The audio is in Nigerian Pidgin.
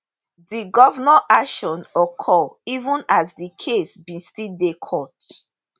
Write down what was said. di govnnor action occur even as di case bin still dey court